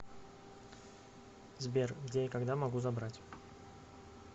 сбер где и когда могу забрать